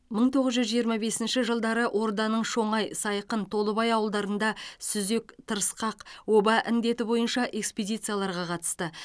мың тоғыз жүз жиырма бесінші жылдары орданың шоңай сайқын толыбай ауылдарында сүзек тырысқақ оба індеті бойынша экспедицияларға қатысты